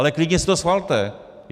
Ale klidně si to schvalte!